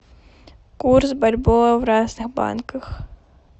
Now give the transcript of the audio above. курс бальбоа в разных банках